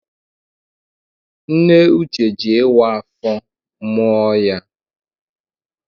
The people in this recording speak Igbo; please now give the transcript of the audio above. Nne Uche jị ịwa afọ mụọ ya.